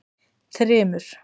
Þrymur